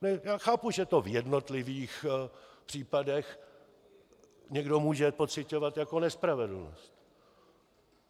Já chápu, že to v jednotlivých případech někdo může pociťovat jako nespravedlnost.